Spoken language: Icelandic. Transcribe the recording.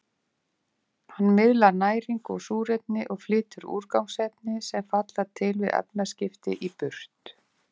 Hann miðlar næringu og súrefni og flytur úrgangsefni, sem falla til við efnaskipti, í burt.